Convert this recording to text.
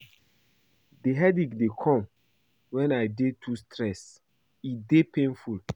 Di headache dey come wen I dey too stressed, e dey painful.